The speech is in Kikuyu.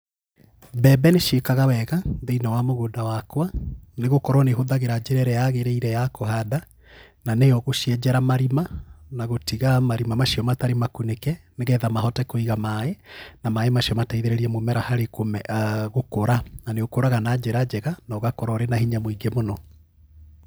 Mbembe nĩ ciĩkaga wega thĩinĩ wa mũgũnda wakwa, nĩgũkorwo nĩ hũthagĩra njĩra ĩrĩa yagĩrĩire ya kũhanda, na nĩyo gũcienjera marima na gũtiga marima macio matarĩ makunĩke nĩgetha mahote kũiga maĩ, na maĩ macio mateithĩrĩe mũmera harĩ gũkũra, na nĩ ũkũraga na njĩra njega, na ũgakorwo ũrĩ na hinya mũingĩ mũno.